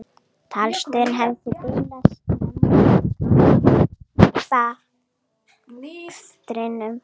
Talstöðin hefði bilað snemma í kappakstrinum